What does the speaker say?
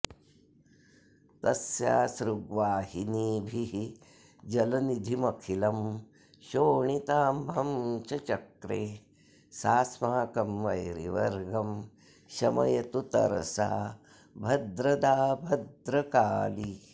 तस्यासृग्वाहिनीभिर्जलनिधिमखिलं शोणिताभं च चक्रे सास्माकं वैरिवर्गं शमयतु तरसा भद्रदा भद्रकाली